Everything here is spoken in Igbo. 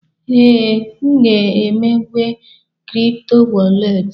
Ee, m ga-emepe kripto wọrlet.